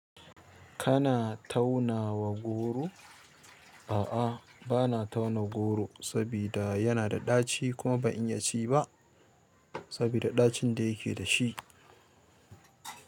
Kana taunawa goro? A'a, bana tauna goro sabida yana da ɗaci kuma ban iya ci ba sabida ɗacin da yake da shi.